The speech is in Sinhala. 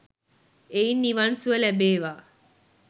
එයින් නිවන් සුව ලැබේවා,